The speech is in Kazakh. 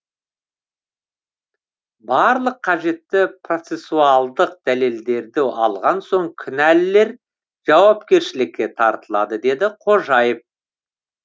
барлық қажетті процессуалдық дәлелдерді алған соң кінәлілер жауапкершілікке тартылады деді қожаев